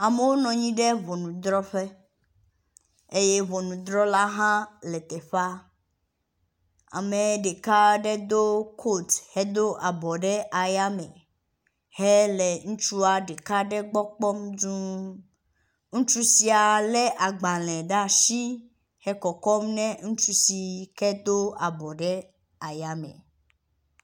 Amewo nɔnyi ɖe ʋɔnuɖrɔƒe eye ʋɔnuɖrɔla hã le teƒea, ame ɖeka aɖe do kot hedo abɔ ɖe aya me hele ŋutsua ɖeka gbɔ kpɔm duũ. Ŋutsu sia le agbalẽ ɖe asi he kɔkɔm nɛ ŋutsu si do abɔ ɖe aya me.